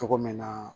Cogo min na